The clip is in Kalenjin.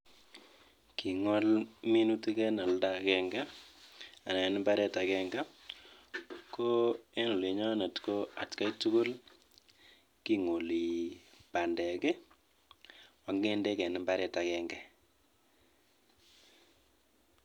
King'ole minutik en imbaret agenge ak achek keng'ole bandel ak ng'endek en mbaret agenge